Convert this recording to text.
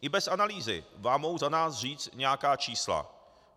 I bez analýzy vám mohu za nás říct nějaká čísla.